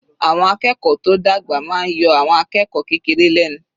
Àwọn akẹ́kọ̀ọ́ tó dàgbà máa yọ àwọn akẹ́kọ̀ọ́ kékeré lẹ́nu.